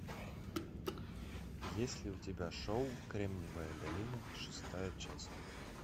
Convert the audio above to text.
есть ли у тебя шоу кремниевая долина шестая часть